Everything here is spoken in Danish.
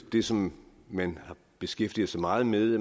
det som man beskæftiger sig meget med